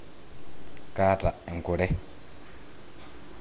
kaata enkure